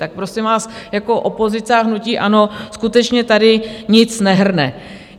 Tak prosím vás, jako opozice a hnutí ANO skutečně tady nic nehrne.